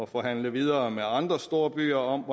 forhandle videre med andre storbyer om